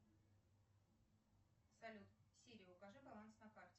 салют сири укажи баланс на карте